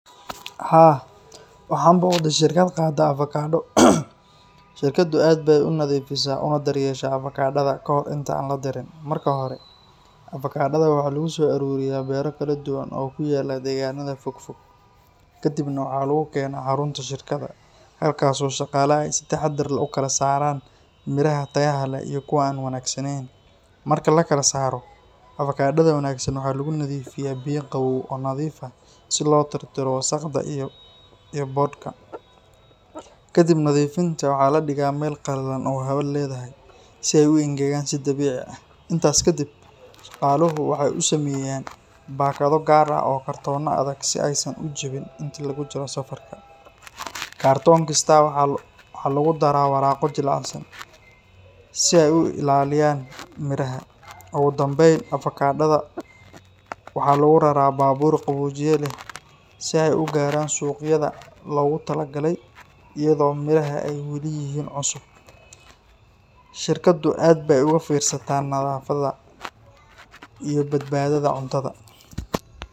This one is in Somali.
Haa, waxaan booqday shirkad qaada avokaado. Shirkaddu aad bay u nadiifisaa una daryeeshaa avokaadada kahor inta aan la dirin. Marka hore, avokaadada waxaa lagu soo ururiyaa beero kala duwan oo ku yaalla deegaanada fogfog. Kadibna waxaa lagu keenaa xarunta shirkadda, halkaas oo shaqaalaha ay si taxaddar leh u kala saaraan midhaha tayada leh iyo kuwa aan wanaagsanayn. Marka la kala saaro, avokaadada wanaagsan waxaa lagu nadiifiyaa biyo qabow oo nadiif ah si loo tirtiro wasakhda iyo boodhka. Kadib nadiifinta, waxaa la dhigaa meel qallalan oo hawo leedahay si ay u engegaan si dabiici ah. Intaas ka dib, shaqaaluhu waxay u sameeyaan baakado gaar ah oo ah kartoono adag si aysan u jabin inta lagu jiro safarka. Kartoon kasta waxaa lagu daraa waraaqo jilicsan si ay u ilaaliyaan midhaha. Ugu dambeyn, avokaadada waxaa lagu raraa baabuur qaboojiye leh si ay u gaaraan suuqyada ay loogu tala galay iyadoo midhaha ay weli yihiin cusub. Shirkaddu aad bay uga fiirsataa nadaafadda iyo badbaadada cuntada.